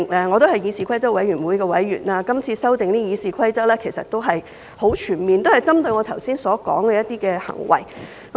我也是議事規則委員會的委員，今次《議事規則》的修訂其實十分全面，也針對了我剛才所說的一些行為。